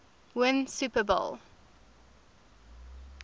win super bowl